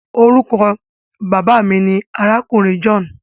Orúkọ Bàbá mí ní arákùnrin john